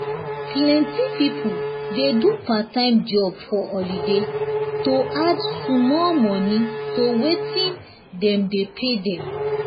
plenty people dey do part-time job for holiday to add small money to wetin dem dey pay them